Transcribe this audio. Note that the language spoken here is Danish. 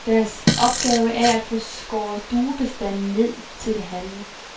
Deres opgave er at få skåret duebestanden ned til det halve.